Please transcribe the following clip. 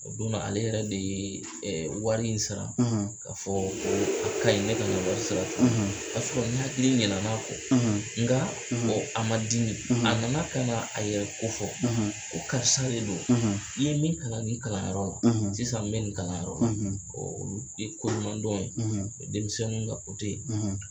O don na ale yɛrɛ de ye wari in sara k'a fɔ a ka ɲi ne ka na wari sara tugun o y'a sɔrɔ n hakili ɲinɛl'a kɔ ɔ nka a ma dimi a nana kana a yɛrɛ ko fɔ ko karisa de don i ye min kalan ni kalanyɔrɔ la sisan n bɛ nin kalanyɔrɔ la ɔ o ye koɲudɔn ye o ye denmisɛnnu ka kote